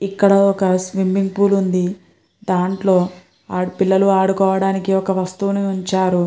ఇక్కడ ఒక swimming pool ఉంది. దాంట్లో పిల్లలు ఆడుకోవడానికి ఒక వస్తువును ఉంచారు.